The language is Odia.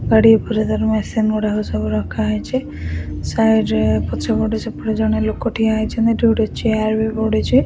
ଗାଡି ଉପରେ ତାର ମେସିନ ଗୁଡାକ ସବୁ ରଖା ହେଇଛି ସାଇଡ୍ ରେ ପଛପଟେ ସେପଟେ ଜଣେ ଲୋକ ଠିଆ ହେଇଛନ୍ତି ଯଉଠି ଚେଆର ବି ପଡିଛି --